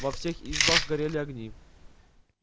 во всех избах горели огни